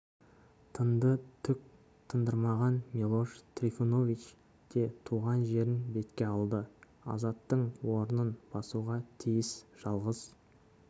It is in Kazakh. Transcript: тынды түк тындырмаған милош трифунович те туған жерін бетке алды азаттың орнын басуға тиіс жалғыз